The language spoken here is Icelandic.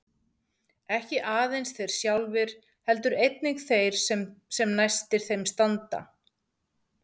Ekki aðeins þeir sjálfir heldur einnig þeir sem næstir þeim standa.